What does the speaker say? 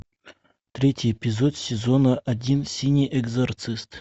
третий эпизод сезона один синий экзорцист